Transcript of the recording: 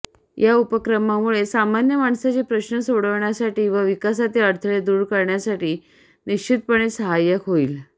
या उपक्रमामुळे सामान्य माणसाचे प्रश्न सोडवण्यासाठी व विकासातील अडथळे दूर करण्यासाठी निश्चितपणे सहाय्य होईल